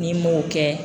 N'i m'o kɛ